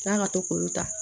K'a ka to k'olu ta